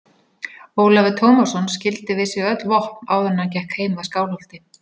Ólafur Tómasson skildi við sig öll vopn áður en hann gekk heim að Skálholti.